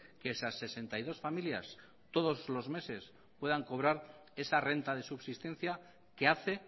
que esas sesenta y dos familias todos los meses puedan cobrar esa renta de subsistencia que hace